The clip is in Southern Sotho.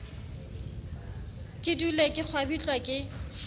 ke dule ke kgwabitlwa ke